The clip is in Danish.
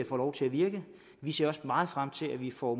får lov til at virke vi ser også meget frem til at vi får